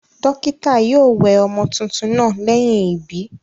Dókítà naa yio we ọmọ tuntun naa léyìn ìbí